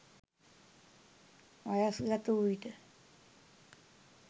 වයස්ගත වූ විට